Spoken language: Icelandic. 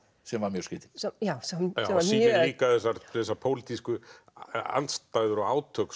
sem var mjög skrýtin já sýnir líka þessar pólitísku andstæður og átök